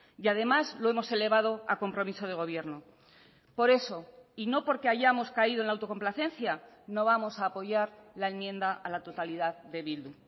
y además lo hemos elevado a compromiso de gobierno por eso y no porque hayamos caído en la autocomplacencia no vamos a apoyar la enmienda a la totalidad de bildu